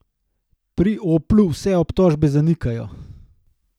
Pri Oplu vse obtožbe zanikajo.